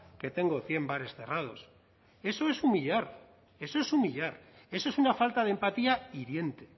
que tengo cien bares cerrados eso es humillar eso es humillar eso es una falta de empatía hiriente